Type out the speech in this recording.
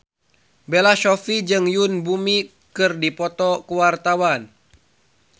Bella Shofie jeung Yoon Bomi keur dipoto ku wartawan